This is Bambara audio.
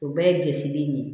O bɛɛ ye gisiri ye